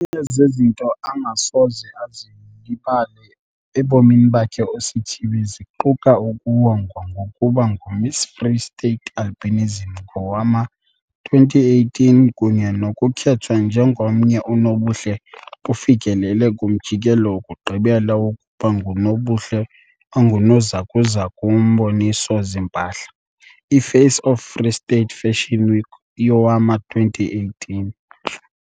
nye zezinto angasoze azilibale ebomini bakhe uSithibe ziquka ukuwongwa ngokuba nguMiss Free State Albinism ngowama-2018 kunye nokukhethwa njengomnye unobuhle ufikelele kumjikelo wokugqibela wokuba ngunobuhle ongunozakuzaku womboniso-zimpahla, i-Face of Free State Fashion Week yowama-2018.